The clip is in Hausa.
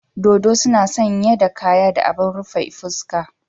Dodo suna sanye da kaya da abin rufe fuska.